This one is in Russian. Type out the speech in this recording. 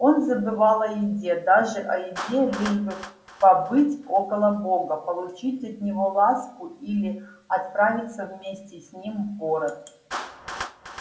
он забывал о еде даже о еде лишь бы побыть около бога получить от него ласку или отправиться вместе с ним в город